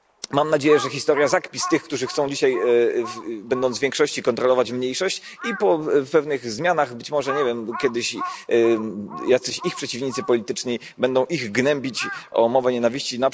Mam nadzieję, że historia zakpi z tych, którzy chcą dzisiaj, będąc w większości, kontrolować mniejszość, i po pewnych zmianach, być może, kiedyś jacyś ich przeciwnicy polityczni będą ich gnębić o mowę nienawiści.